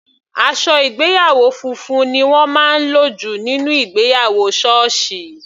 Aṣọ ìgbéyàwó funfun ni wọ́n máa ń lò jù nínú ìgbéyàwó sọọsi.